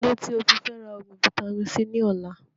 Kílódé tí ofi Fẹra oògùn vitamin-c ni ọ̀la